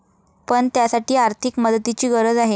पण, त्यासाठी आर्थिक मदतीची गरज आहे.